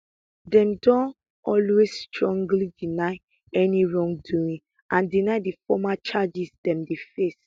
dem don always strongly deny any wrongdoing and deny di formal charges dem dey face